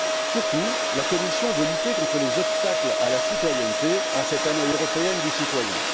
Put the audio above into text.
Surtout, la Commission veut lutter contre les obstacles à la citoyenneté en cette Année européenne du citoyen.